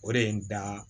O de ye n da